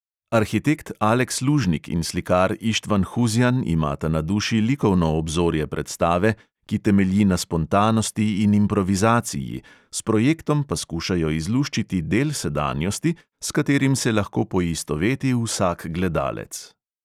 Arhitekt aleks lužnik in slikar ištvan huzjan imata na duši likovno obzorje predstave, ki temelji na spontanosti in improvizaciji, s projektom pa skušajo izluščiti del sedanjosti, s katerim se lahko poistoveti vsak gledalec.